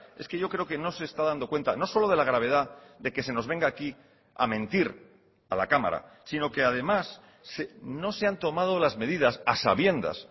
es que yo creo que no se está dando cuenta no solo de la gravedad de que se nos venga aquí a mentir a la cámara sino que además no se han tomado las medidas a sabiendas